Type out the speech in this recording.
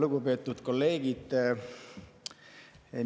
Lugupeetud kolleegid!